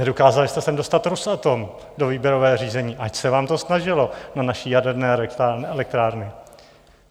Nedokázali jste sem dostat Rosatom do výběrového řízení, ač se vám to snažilo, na naše jaderné elektrárny.